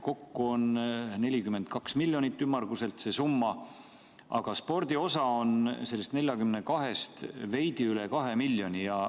Kokku on see summa ümmarguselt 42 miljonit eurot, aga spordi osa on sellest veidi üle 2 miljoni.